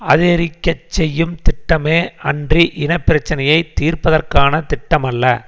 அதிகரிக்க செய்யும் திட்டமே அன்றி இன பிரச்சினையை தீர்ப்பதற்கான திட்டமல்ல